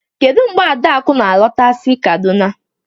Kedu mgbe Adaku na-alọta si kaduna